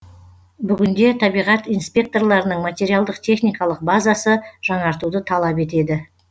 бүгінде табиғат инспекторларының материалдық техникалық базасы жаңартуды талап етеді